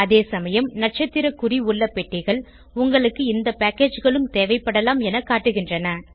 அதேசமயம் நட்சத்திற குறி உள்ள பெட்டிகள் உங்களுக்கு இந்த packageகளும் தேவைப்படலாம் என காட்டுகின்றன